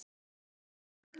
Þeir græða.